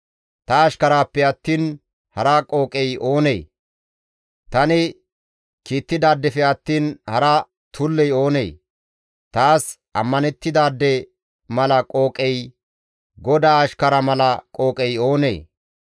Ta ashkaraappe attiin hara qooqey oonee? Tani kiittidaadefe attiin hara tulley oonee? taas ammanettidaade mala qooqey, GODAA ashkara mala qooqey oonee?